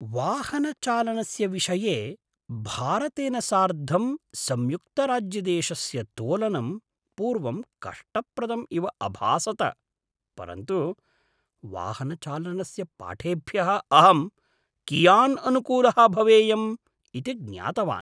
वाहनचालनस्य विषये भारतेन सार्धं संयुक्तराज्यदेशस्य तोलनं पूर्वं कष्टप्रदम् इव अभासत, परन्तु वाहनचालनस्य पाठेभ्यः अहं कियान् अनुकूलः भवेयम् इति ज्ञातवान्!